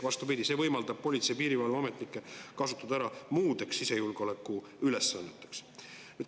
Vastupidi, see võimaldab politsei‑ ja piirivalveametnikke kasutada ära muudeks sisejulgeoleku ülesanneteks.